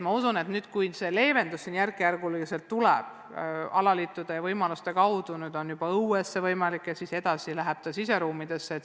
Ma usun, et kui piiranguid hakatakse järk-järgult leevendama, saavad alaliidud võimaluse treenida õues ja seejärel juba siseruumidesse.